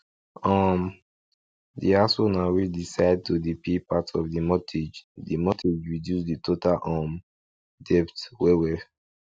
um the house owner wey decide to dey pay part of the mortgage the mortgage reduce the total um debt well well